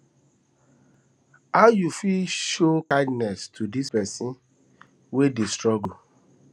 how you fit show kindness to di pesin wey dey struggle